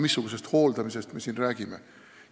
Missugusest hooldamisest me siin räägime?